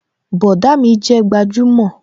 Bọ̀dá mi jẹ́ gbajúmò